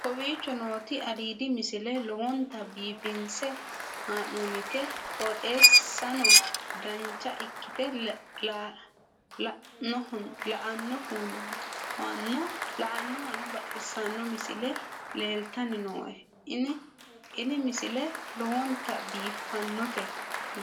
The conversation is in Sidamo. kowicho nooti aliidi misile lowonta biifinse haa'noonniti qooxeessano dancha ikkite la'annohano baxissanno misile leeltanni nooe ini misile lowonta biifffinnote